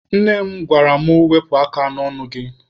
Nne m gwara mụ, Wepụ aka n'ọnụ gị!